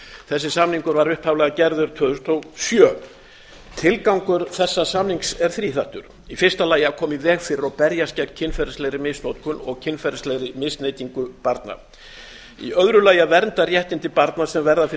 þessi samningur var upphaflega gerður tvö þúsund og sjö tilgangur þessa samnings er þríþættur í fyrsta lagi að koma í veg fyrir og berjast gegn kynferðislegri misnotkun og kynferðislegri misneytingu barna í öðru lagi að vernda réttindi barna sem verða fyrir